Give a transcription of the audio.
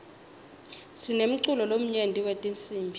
sinemculo lomnyenti wetinsibi